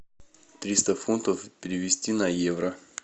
триста фунтов перевести на евро